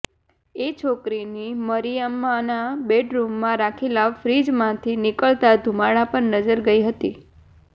એ છોકરીની મરિયમ્માના બેડરૂમમાં રાખેલા ફ્રિજમાંથી નીકળતા ધુમાડા પર નજર ગઈ હતી